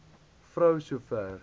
vrou so ver